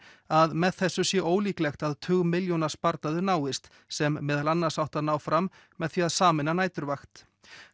að með þessu sé ólíklegt að tugmilljóna sparnaður náist sem meðal annars átti að ná fram með því að sameina næturvakt